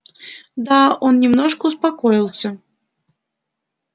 да он немножко успокоился